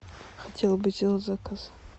хотела бы сделать заказ